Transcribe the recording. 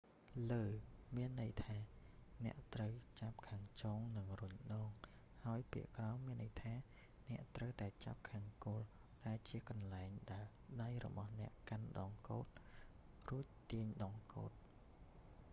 លើ មានន័យថាអ្នកត្រូវចាប់ខាងចុងនិងរុញដង ហើយពាក្យក្រោម មានន័យថាអ្នកត្រូវតែចាប់ខាងគល់ ដែលជាកន្លែងដែលដៃរបស់អ្នកកាន់ដងកូដ រួចទាញដងកូដ